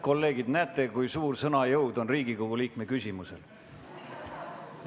Kolleegid, näete, kui suur sõna jõud on Riigikogu liikme küsimusel.